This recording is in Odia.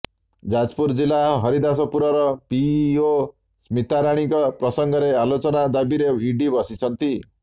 ଯାଜପୁର ଜିଲ୍ଲା ହରିଦାସପୁରର ପିଇଓ ସ୍ମିତାରାଣୀଙ୍କ ପ୍ରସଂଗରେ ଆଲୋଚନା ଦାବୀରେ ଇଡି ବସିଛନ୍ତି